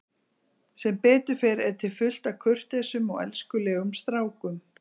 Sem betur fer er til fullt af kurteisum og elskulegum strákum.